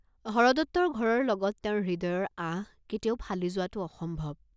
হৰদত্তৰ ঘৰৰ লগত তেওঁৰ হৃদয়ৰ আঁহ কেতিয়াও ফালি যোৱাটো অসম্ভৱ।